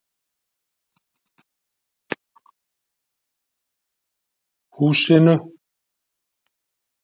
Húsinu